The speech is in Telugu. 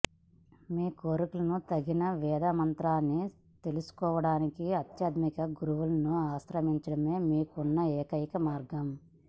మీ కోరికలకు తగిన వేద మంత్రాన్ని తెలుసుకోవడానికి ఆధ్యాత్మిక గురువును ఆశ్రయించడమే మీకున్న ఏకైక మార్గం